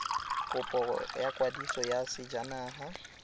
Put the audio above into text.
kopo ya kwadiso ya sejanaga